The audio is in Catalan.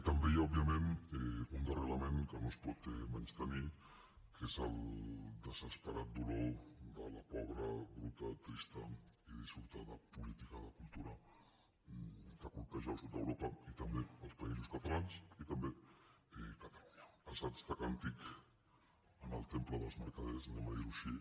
també hi ha òbviament un darrer element que no es pot menystenir que és el desesperat dolor de la pobra bruta trista i dissortada política de cultura que colpeja el sud d’europa i també els països catalans i també catalunya assaig de càntic en el temple dels mercaders diguem ho així